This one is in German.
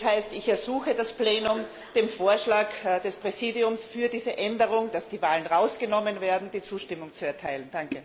Das heißt, ich ersuche das Plenum, dem Vorschlag des Präsidiums für diese Änderung, dass die Wahlen herausgenommen werden, die Zustimmung zu erteilen.